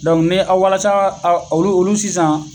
Dɔnku ni walasa olu olu sisan